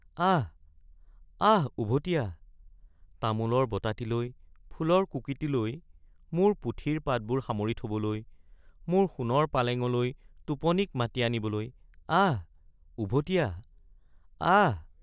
আহ্‌ আহ্‌ উভটি আহ—তামোলৰ বটাটিলৈ ফুলৰ কুকিটি লৈ মোৰ পুথিৰ পাতবোৰ সামৰি থবলৈ মোৰ সোণৰ পালেঙলৈ টোপনিক মাতি আনিবলৈ— আহ্‌ উভটি আহ্‌।